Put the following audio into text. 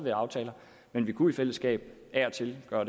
en aftale men vi kunne i fællesskab af og til gøre